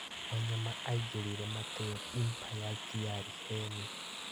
Wanyama aingĩrire Mateo Impa ya Thiarĩ Heni.